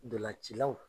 Ntolancilaw